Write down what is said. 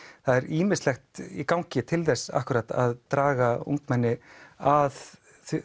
það er ýmislegt í gangi til þess akkúrat að draga ungmenni að